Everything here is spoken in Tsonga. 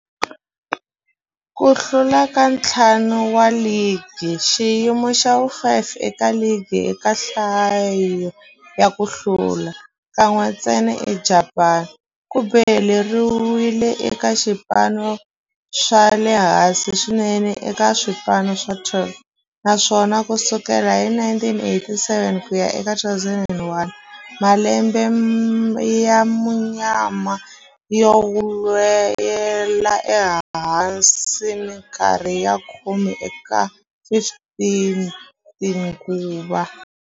Ku hlula ka ntlhanu wa ligi, xiyimo xa vu-5 eka ligi eka nhlayo ya ku hlula, kan'we ntsena eJapani, ku boheleriwile eka swipano swa le hansi swinene eka swipano swa 12, naswona ku sukela hi 1987 ku ya eka 2001, malembe ya munyama yo nwela ehansi minkarhi ya khume eka 15 tinguva.